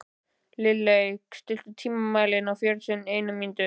Lilley, stilltu tímamælinn á fjörutíu og eina mínútur.